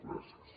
gràcies